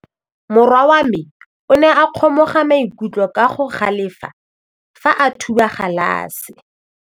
Morwa wa me o ne a kgomoga maikutlo ka go galefa fa a thuba galase.